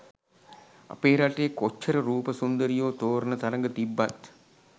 අපේ රටේ කොච්චර රූප සුන්දරියෝ තෝරන තරග තිබ්බත්